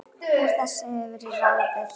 Úr þessu hefur verið ráðið